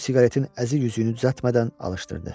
O siqaretin əzik üzüyünü düzəltmədən alışdırdı.